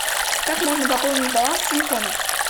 как можно пополнить баланс телефона